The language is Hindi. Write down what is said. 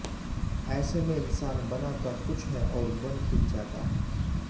ऐसे में इंसान बनाता कुछ है औऱ बन कुछ जाता है